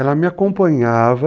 Ela me acompanhava.